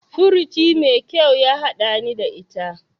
Furuci mai kyau ya haɗani ta ita.